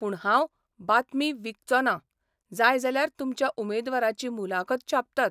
पूण हांव बातमी विकचों ना जाय जाल्यार तुमच्या उमेदवाराची मुलाखत छापतात.